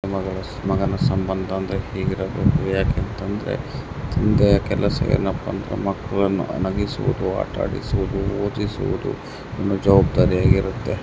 ಅಪ್ಪ ಮಗನ ಸಂಬಂಧ ಅಂದ್ರೆ ಹೇಗಿರಬೇಕೆಂದರೆ ಮಲಗಿಸುವುದು ಆಟ ಆಡಿಸುವುದು ಆಗಿದೆ ಓದಿಸುವುದು ದೊಡ್ಡ ಜವಾಬ್ದಾರಿಯಾಗಿದೆ.